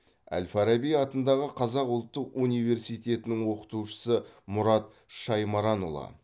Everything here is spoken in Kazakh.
әл фараби атындағы қазақ ұлтық университетінің оқытушысы мұрат шаймаранұлы